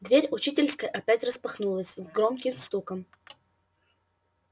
дверь учительской опять распахнулась с громким стуком